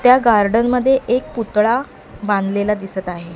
त्या गार्डन मध्ये एक पुतळा बांधलेला दिसत आहे.